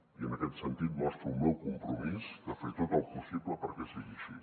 i en aquest sentit mostro el meu compromís de fer tot el possible perquè sigui així